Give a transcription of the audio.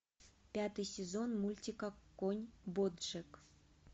пятый сезон мультика конь боджек